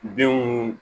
Denw